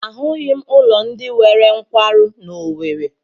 Ahụghị m ụlọ ndị nwere nkwarụ n'Owere.